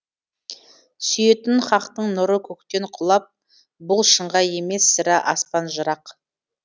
сүйетін хақтың нұры көктен құлап бұл шыңға емес сірә аспан жырақ